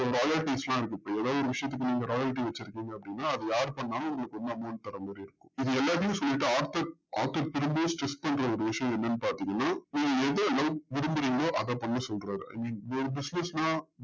royalties லா royalty வசுருக்கிங்க அப்டின்ன அது யார் பண்ணலும் உங்களுக்கு full amount வரமாறி இருக்கும் இது எல்லாத்தையும் சொல்லிட்டு திரும்பி strict பண்ற ஒரு விஷயம் என்னனு பாத்திங்கன்னா நீங்க எத விரும்புறீங்களோ அத பண்ண சொல்றாரு இந்த business னா